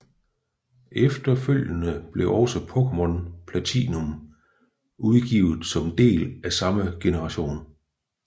Efterfølgende blev også Pokémon Platinum udgivet som del af samme generation